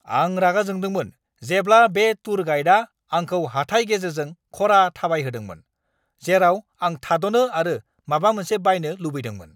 आं रागा जोंदोंमोन जेब्ला बे टुर गाइडआ आंखौ हाथाइ गेजेरजों खरा थाबायहोदोंमोन, जेराव आं थाद'नो आरो माबा मोनसे बायनो लुबैदोंमोन!